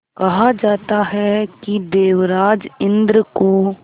कहा जाता है कि देवराज इंद्र को